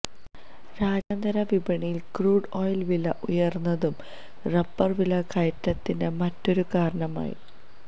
രാജ്യാന്തരവിപണിയില് crude oil വില ഉയര്ന്നതും rubber വില കയറ്റത്തിന്റെ മറ്റൊരു കാരണമായി